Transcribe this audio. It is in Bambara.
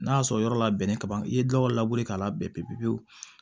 N'a y'a sɔrɔ yɔrɔ labɛnnen ka ban i ye gawo labe k'a labɛn pewu pewu